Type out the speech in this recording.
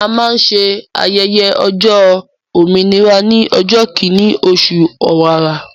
A máa ń ṣe ayẹyẹ ọjọ́ òmìnira ní ọjọ́ kíní oṣù ọ̀wàrà